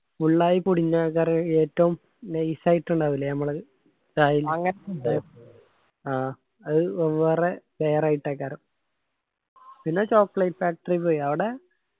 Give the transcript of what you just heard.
full ആയി പൊടിഞ്ഞ കരം ഏറ്റവും nice ആയിറ്റ് ഇണ്ടാവൂല്ലേ ഞമ്മളെ അത് വെവ്വേറെ കരം. പിന്നെ chocolate factory പോയി അവടെ.